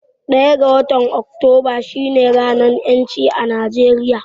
Ɗaya ga watan Oktoba shi ne ranar ƴancin ƙasa